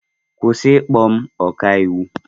Kwụsị ịkpọ m ọkaiwu!